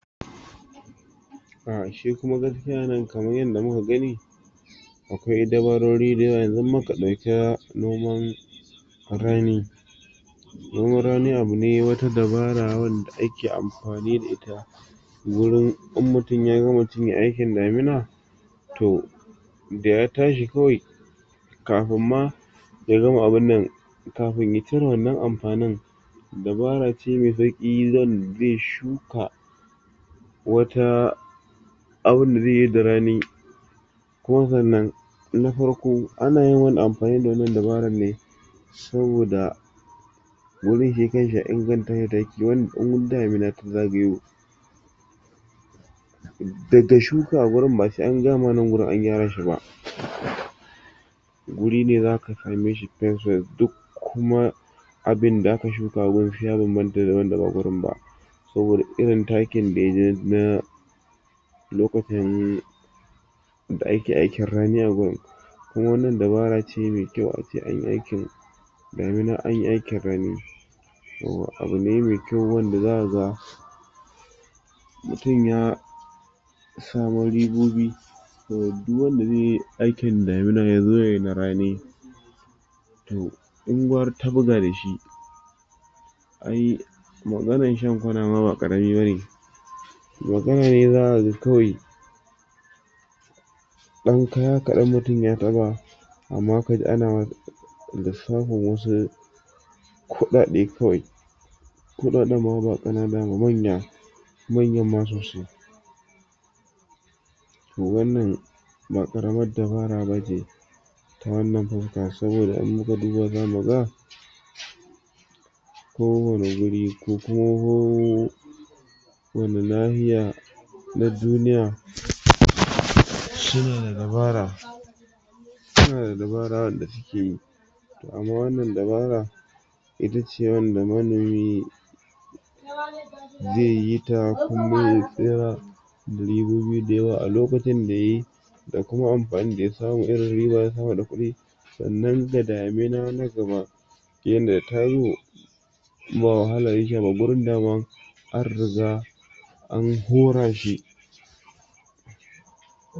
um shi kuma gaskiya anan kamar yadda muka gani akwai dabarori dayawa. Yanzu in muka dauka noman rani, noman rani abu ne wata dabara wanda ake amfani da ita wurin in mutum ya gama cinye aikin damina toh da ya tashi kawai kafin ma ya gama abinnan kafin ya cire wannan amfanin dabara ce mai ze shuka wata, abunda ze yi da rani. Kuma sannan na farko ana yin amfani wannan dabaran ne saboda wurin shi kanshi a ingantashi dayake wurin in damina ta zagayo dada shuka gurin ba sai an gaya ma wurin an gyara shi ba guri ne zaka sameshi fyas fyas duk kuma abinda aka shuka a gurin shi ya banbanta da wanda ba gurin ba saboda irin takin da yaji na lokacin da ake aikin rani agun. Kuma wannan dabarace mai kyau ace an yi aikin damina an yi aikin rani toh abu ne mai kyau wanda zakaga mutum ya samu ribobi. Toh duk wanda zeyi aikin damina yazo yayi na rani toh uwar tabuga dashi. Ai maganar shan kwana ma ba karami ba ne, maganar hira aga kawai dan kaya kadan mutum ya taba amma ka ji ana lissafin wasu kudade kawai, kudaden ma ba kanana ba manya manyan ma sosai. Toh wannan ba karamar dabara bace, wannan sabga saboda an yi kudi ba’a gane ba ko wani wuri ku kooo wani na’iya na duniya shine da dabara sunada dabaran da suke yi. Amma wannan dabara ita ce ta wanda manomi ze yi ta kuma ya alokutan da yayi da kuma amfanin da ya samu irin riba hada kudi wannan da damina na gaba in ba wahala yake ma gurin daman an riga an horashi.